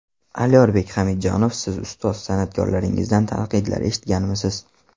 Alyorbek Hamidjanov Siz ustoz san’atkorlaringizdan tanqidlar eshitganmisiz?